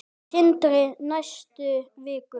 Sindri: Næstu vikum?